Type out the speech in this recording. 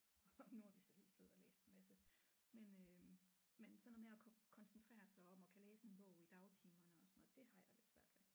Og nu har vi så lige siddet og læst en masse men øh men sådan noget med at kunne koncentrere sig om at kan læse en bog i dagtimerne og sådan noget det har jeg lidt svært ved